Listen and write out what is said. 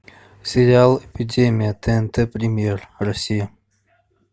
сериал эпидемия тнт премьер россия